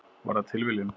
Var það tilviljun?